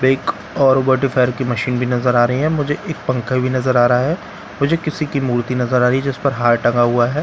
वेक और वाटर फायर की मशीन भी नजर आ रही है मुझे एक पंखा भी नजर आ रहा है मुझे किसी की मूर्ति नजर आ रही है जिस पर हार टंगा हुआ है --